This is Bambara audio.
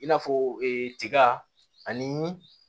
I n'a fɔ tiga ani